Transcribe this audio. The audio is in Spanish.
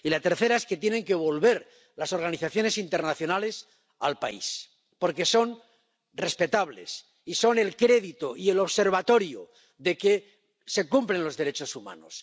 Y la tercera es que tienen que volver las organizaciones internacionales al país, porque son respetables y son el crédito y el observatorio de que se cumplen los derechos humanos.